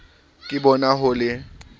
ke bona ho le molemo